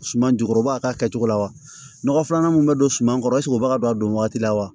Suman jukɔrɔba k'a kɛcogo la wa nɔgɔ filanan min bɛ don suman kɔrɔ o b'a don a don waati la wa